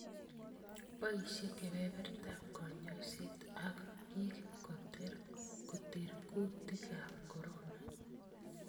Boisye kebebertan konyoiset ak biik koter kutiikab corona